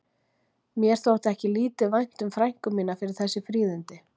Mér þótti ekki lítið vænt um frænku mína fyrir þessi fríðindi.